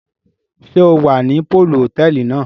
Ṣe o wá ní poolu hotẹẹli náà?